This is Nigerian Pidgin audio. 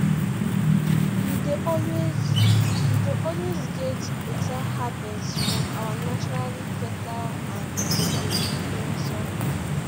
we dey always we dey always get beta harvest from our naturally fertile and productive loamy soil